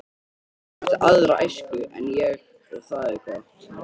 Hún átti aðra æsku en ég og það er gott.